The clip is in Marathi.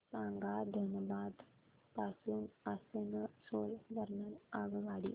सांगा धनबाद पासून आसनसोल दरम्यान आगगाडी